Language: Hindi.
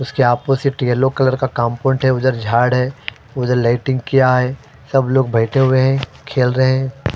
उसके अपोज़िट यलो कलर का है उधर झाड़ है उधर किया है सब लोग बैठे हुए हैं खेल रहे हैं।